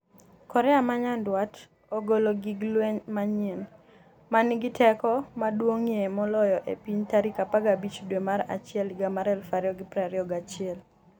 Korea ma Nyanduat ogolo gig lweny manyien 'ma nigi teko maduong'ie moloyo e piny' tarik 15 dwe mar achiel higa mar 2021